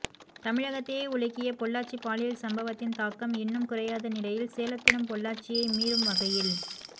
தமிழகத்தையே உலுக்கிய பொள்ளாச்சி பாலியல் சம்பவத்தின் தாக்கம் இன்னும் குறையாத நிலையில் சேலத்திலும் பொள்ளாச்சியை மீறும் வகையில்